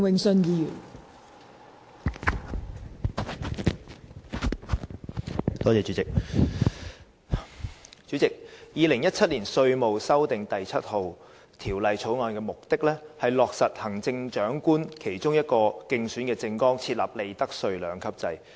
代理主席，《2017年稅務條例草案》的目的，是落實行政長官在其競選政綱中提出的利得稅兩級制。